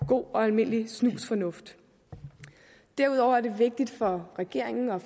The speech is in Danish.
god og almindelig snusfornuft derudover er det vigtigt for regeringen og